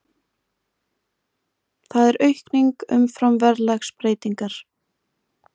Það er aukning umfram verðlagsbreytingar